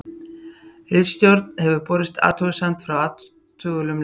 Ritstjórn hefur borist athugasemd frá athugulum lesanda.